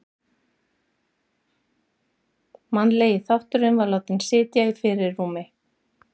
Mannlegi þátturinn var látinn sitja í fyrirrúmi.